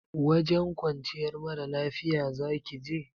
Wajen kwanciyar mara lafiya zaki je?